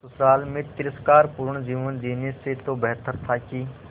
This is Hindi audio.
ससुराल में तिरस्कार पूर्ण जीवन जीने से तो बेहतर था कि